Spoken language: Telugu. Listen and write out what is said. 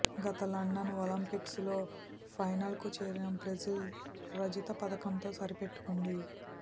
గత లండన్ ఒలింపిక్స్లో ఫైనల్కు చేరిన బ్రెజిల్ రజత పతకంతో సరిపెట్టుకుంది